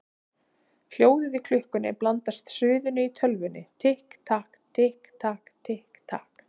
Hljóðið í klukkunni blandast suðinu í tölvunni: Tikk takk, tikk takk, tikk takk.